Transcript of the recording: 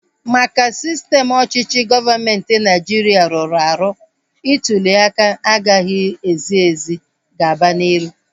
Maka sistem ọchịchị gọọmenti Naịjiria rụrụ arụ, ntuliaka agaghị ezi ezi gaba n'iru